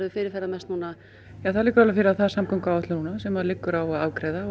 fyrirferðamest núna það liggur alveg fyrir að það er samgönguáætlun núna sem liggur á að afgreiða og